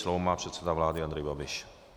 Slovo má předseda vlády Andrej Babiš.